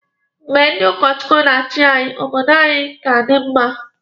Mgbe ndị ụkọ Chukwu na-achi anyị, obodo anyi di mma.